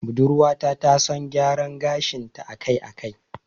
Budurwa ta ta son gyara gashin ta a kai a kai